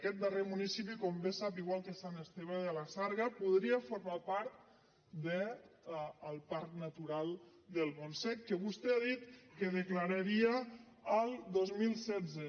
aquest darrer municipi com bé sap igual que sant esteve de la sarga podria formar part del parc natural del montsec que vostè ha dit que declararia el dos mil setze